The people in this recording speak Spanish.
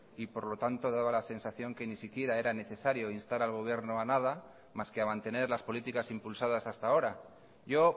y por lo tanto daba la sensación que ni siquiera era necesario instar al gobierno a nada más que a mantener las políticas impulsadas hasta ahora yo